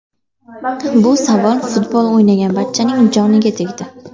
Bu savol futbol o‘ynagan barchaning joniga tegdi.